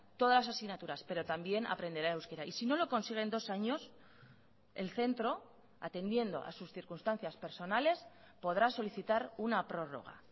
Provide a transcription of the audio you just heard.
todas las asignaturas pero también aprenderá euskera y si no lo consigue en dos años el centro atendiendo a sus circunstancias personales podrá solicitar una prórroga